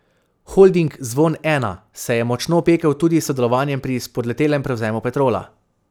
Holding Zvon Ena se je močno opekel tudi s sodelovanjem pri spodletelem prevzemu Petrola.